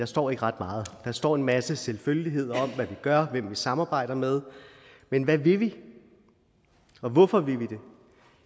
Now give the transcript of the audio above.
står ikke ret meget der står en masse selvfølgeligheder om hvad vi gør hvem vi samarbejder med men hvad vil vi og hvorfor vil